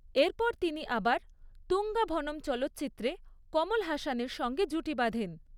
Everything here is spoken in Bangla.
এরপর তিনি আবার ‘তুঙ্গা ভনম’ চলচ্চিত্রে কমল হাসানের সঙ্গে জুটি বাঁধেন।